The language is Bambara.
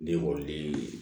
Den woloden ye